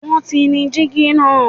won ti ní digi naa